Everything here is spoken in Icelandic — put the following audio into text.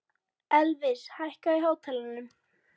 Elvis, hækkaðu í hátalaranum.